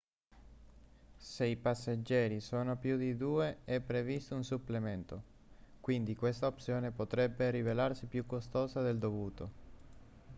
se i passeggeri sono più di 2 è previsto un supplemento quindi questa opzione potrebbe rivelarsi più costosa del dovuto